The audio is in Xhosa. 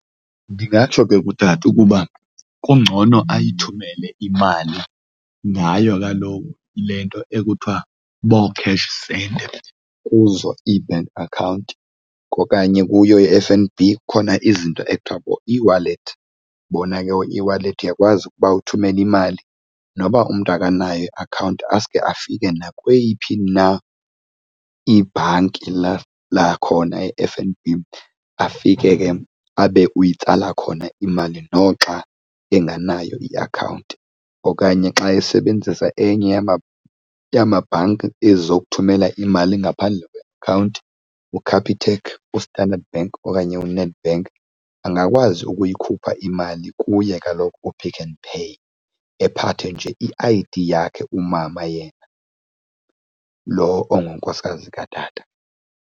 Ndingatsho ke kutata ukuba kungcono ayithumele imali ngayo laa nto, le nto ekuthiwa boo-cash send kuzo iibhenki akhawunti okanye kuyo i-F_N_B, kukhona izinto ekuthiwa ngueWallet. Bona ke ooeWallet uyakwazi ukuba uthumele imali noba umntu akanayo iakhawunti asuke afike nakweyiphi na ibhanki lakhona e-F_N_B afike, ke abe uyitsala khona imali noxa engenayo iakhawunti. Okanye xa esebenzisa enye yamabhanki ezi zokuthumela imali ngaphandle kweakhawunti uCapitec, uStandard Bank okanye uNedbank, angakwazi ukuyikhupha imali kuye kaloku uPick n Pay, ephathe nje i-I_D yakhe umama yena lo ongunkosikazi katata.